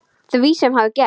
Því sem hafði gerst.